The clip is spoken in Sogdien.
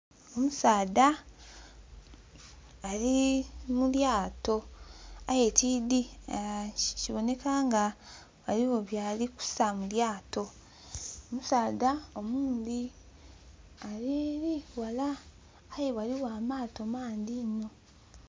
Omusaadha ali mu lyato aye tidhi, kiboneka nga eriyo byali kuta mu lyato Omusaadha owundhi ali eri ghala aye ghaligho amaato mangi inho.